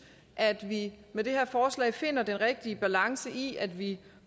at vi med det her forslag finder den rigtige balance i at vi